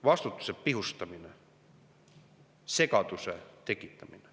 Vastutuse pihustamine, segaduse tekitamine.